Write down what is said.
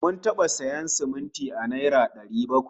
Mun taɓa sayan siminti a naira dari takwas